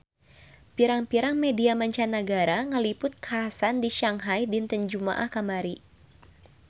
Pirang-pirang media mancanagara ngaliput kakhasan di Shanghai dinten Jumaah kamari